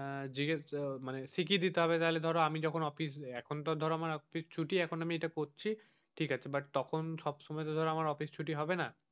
আহ জিজ্ঞেস আ মানে শিখিয়ে দিতে হবে তাহলে ধরো যখন অফিস এখন তো ধরো অফিস আমার ছুটি এখন আমি করছি ঠিক আছে but তখন সব সময় ধরে আমার অফিস ছুটি হবে না.